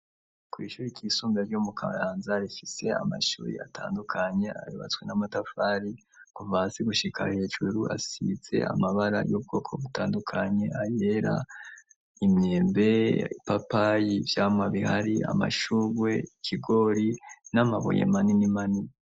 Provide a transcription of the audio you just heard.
Kw'ishuri ryisumbuye ryo mu karanza rifise amashuri atandukanye arebatswe n'amatafari kumvasi gushika hejuru asitse amabara y'ubwoko butandukanye ayera imyembe ipapayi by'amabihari amashuwe kigori n'amabuye manini manini.